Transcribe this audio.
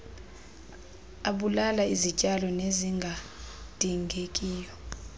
abulala izityalo ezingadingekiyo